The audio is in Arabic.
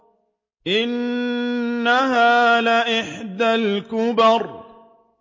إِنَّهَا لَإِحْدَى الْكُبَرِ